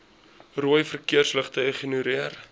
rooi verkeersligte ignoreer